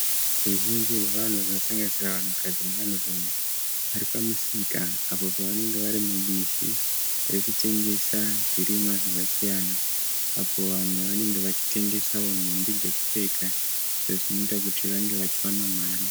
Ruzhinji rwevanhu runosanganisira vanhukadzi nevanhurume. Varipamusika apo pavanenge varimubishi rekutengesa zvirimwa zvakasiyana apo vamwe vanenge vachitengesawo nhumbi dzekupfeka izvo zvinoita kuti vange vachiwana mari.